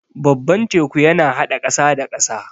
Babban teku yana haɗa ƙasa da ƙasa.